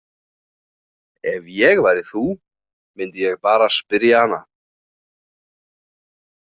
Ef ég væri þú myndi ég bara spyrja hana.